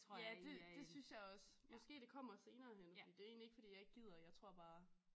Ja det det synes jeg også måske det kommer senere hen fordi det egentlig ikke fordi jeg ikke gider jeg tror bare